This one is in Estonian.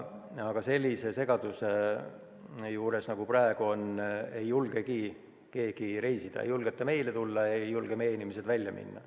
Aga sellise segaduse juures, nagu on praegu, ei julgegi keegi reisida – ei julgeta meile tulla, ei julge meie inimesed välja minna.